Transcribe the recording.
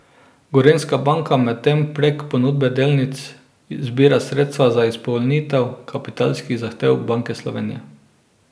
Gorenjska banka medtem prek ponudbe delnic zbira sredstva za izpolnitev kapitalskih zahtev Banke Slovenije.